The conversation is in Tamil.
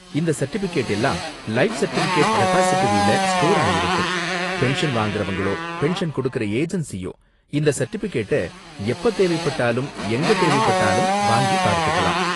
இந்த சர்டிபிகேட் எல்லாம் லைஃப் சர்டிபிகேட் ரெபாஸிடரில ஸ்டோர் ஆயிருக்கும், பென்ஷன் வாங்கறவங்களோ, பென்ஷன் கொடுக்குற ஏஜென்ஸியோ இந்த சர்டிபிகேட்ட எப்ப தேவைப்பட்டாலும் எங்க தேவைப்பட்டாலும் வாங்கி பார்த்துக்கலாம்.